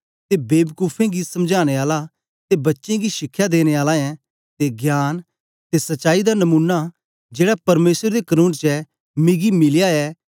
ते बेबकूफे गी समझाने आला ते बच्चें गी शिखया देने आला ऐं ते ज्ञान ते सचाई दा नमूना जेड़ा परमेसर दे कनून च ऐ मिगी मिलया ऐ